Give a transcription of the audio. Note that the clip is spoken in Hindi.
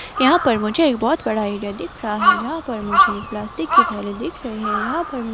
यहाँ पर मुझे एक बहुत बड़ा एरिया दिख रहा है जहां पर मुझे एक प्लास्टिक की थैली दिख रही है यहाँ पर मुझे--